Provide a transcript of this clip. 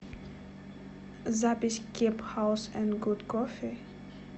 запись кеб хаус энд гуд кофи